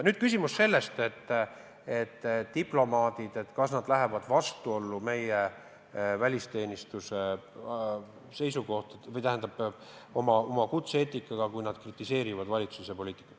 Nüüd küsimus, kas diplomaadid lähevad vastuollu meie välisteenistuse seisukohtadega või oma kutse-eetikaga, kui nad kritiseerivad valitsuse poliitikat.